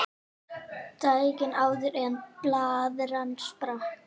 Daginn áður en blaðran sprakk.